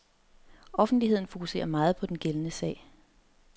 Offentligheden fokuserer meget på den gældende sag.